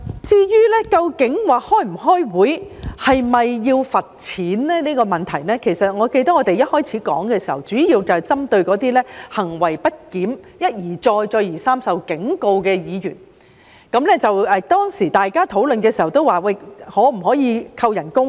至於不出席會議是否需要罰款的問題，我記得我們一開始討論的時候，主要是針對那些行為不檢、一而再再而三受警告的議員，大家討論的時候也提出，可否扣減其工資呢？